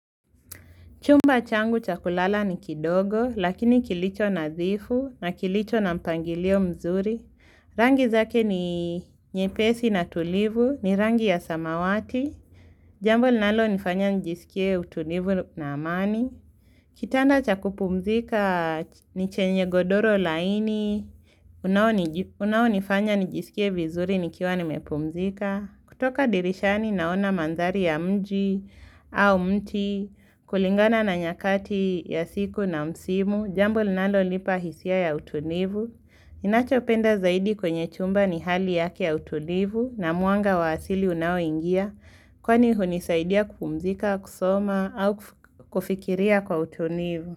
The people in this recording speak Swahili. Chumba changu cha kulala ni kidogo, lakini kilicho nadhifu na kilicho na mpangilio mzuri. Rangi zake ni nyepesi na tulivu, ni rangi ya samawati. Jambo linalonifanya nijisikie utunivu na amani. Kitanda cha kupumzika ni chenye godoro laini. Unao nifanya nijisikie vizuri nikiwa nimepumzika. Kutoka dirishani naona mandhari ya mji au mti kulingana na nyakati ya siku na msimu, jambo linalonipa hisia ya utulivu. Ninachopenda zaidi kwenye chumba ni hali yake ya utulivu na mwanga wa asili unaoingia kwani hunisaidia kupumzika, kusoma au kufikiria kwa utulivu.